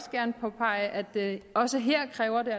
gerne påpege at det også her kræver